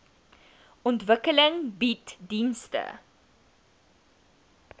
ontwikkeling bied dienste